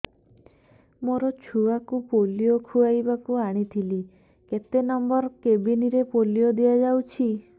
ମୋର ଛୁଆକୁ ପୋଲିଓ ଖୁଆଇବାକୁ ଆଣିଥିଲି କେତେ ନମ୍ବର କେବିନ ରେ ପୋଲିଓ ଦିଆଯାଉଛି